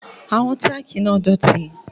Àwọn tákì náà dọ̀tí